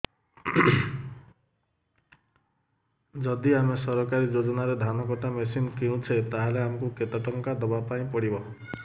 ଯଦି ଆମେ ସରକାରୀ ଯୋଜନାରେ ଧାନ କଟା ମେସିନ୍ କିଣୁଛେ ତାହାଲେ ଆମକୁ କେତେ ଟଙ୍କା ଦବାପାଇଁ ପଡିବ